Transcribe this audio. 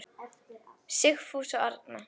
Sigfús og Arna.